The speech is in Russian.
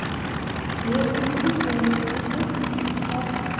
да я вроде выздоровела вроде нет ну так